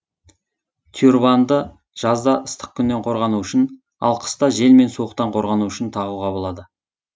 тюрбанды жазда ыстық күннен қорғану үшін ал қыста жел мен суықтан қорғану үшін тағуға болады